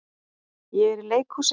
Ég er í leikhúsi.